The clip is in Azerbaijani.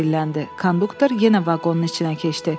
Konduktor yenə vaqonun içinə keçdi.